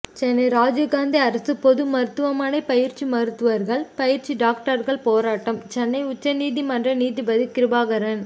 சென்னை ராஜீவ்காந்தி அரசு பொதுமருத்துவமனை பயிற்சி மருத்துவர்கள் பயிற்சி டாக்டர்கள் போராட்டம் சென்னை உயர்நீதிமன்றம் நீதிபதி கிருபாகரன்